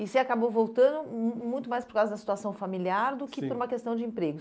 E você acabou voltando mu muito mais por causa da situação familiar, sim, do que por uma questão de emprego.